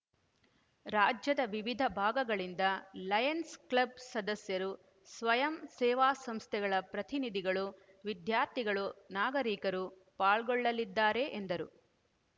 ರಾಜ್ಯದ ವಿವಿಧ ಭಾಗಗಳಿಂದ ಲಯನ್ಸ್ ಕ್ಲಬ್‌ ಸದಸ್ಯರು ಸ್ವಯಂ ಸೇವಾ ಸಂಸ್ಥೆಗಳ ಪ್ರತಿನಿಧಿಗಳು ವಿದ್ಯಾರ್ಥಿಗಳು ನಾಗರಿಕರು ಪಾಲ್ಗೊಳ್ಳಲಿದ್ದಾರೆ ಎಂದರು